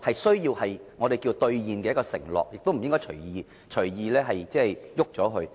這是我們需要兌現的承諾，亦不應隨意改動。